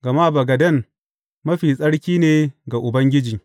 Gama bagaden mafi tsarki ne ga Ubangiji.